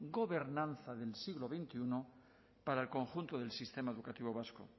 gobernanza del siglo veintiuno para el conjunto del sistema educativo vasco